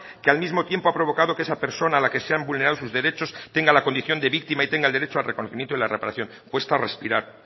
que al mismo tiempo ha provocado que esa persona a la que se han vulnerado sus derechos tenga la condición de víctima y tenga el derecho al reconocimiento y la reparación cuesta respirar